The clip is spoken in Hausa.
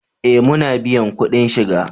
Eh muna biyan kudin shiga